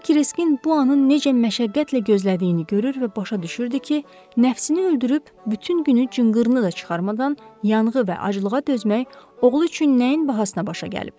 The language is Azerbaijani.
O Kriskın bu anı necə məşəqqətlə gözlədiyini görür və başa düşürdü ki, nəfsini öldürüb bütün günü cınqırını da çıxarmadan yanğı və acılığa dözmək oğlu üçün nəyin bahasına başa gəlib.